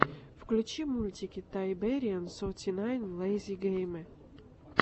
включи мультики тайбэриэн соти найн лэйзи гейме